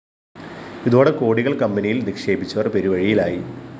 ഇതോടെ കോടികള്‍ കമ്പനിയില്‍ നിക്ഷേപിച്ചവര്‍ പെരുവഴിയിലായി